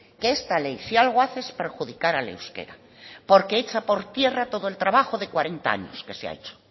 que esta ley si algo hace es perjudicar al euskera porque echa por tierra todo el trabajo de cuarenta años que se ha hecho